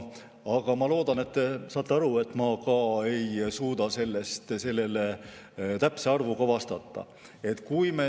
Aga ma loodan, et te saate aru, et ma ei suuda sellele täpse arvuga vastata.